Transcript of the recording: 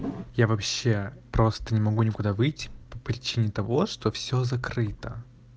я вообще просто не могу никуда выйти по причине того что все закрыто